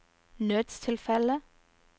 nødstilfelle